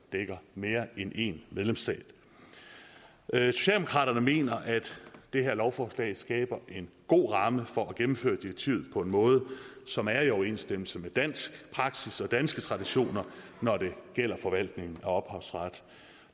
dækker mere end en medlemsstat socialdemokraterne mener at det her lovforslag skaber en god ramme for at gennemføre direktivet på en måde som er i overensstemmelse med dansk praksis og danske traditioner når det gælder forvaltningen af ophavsret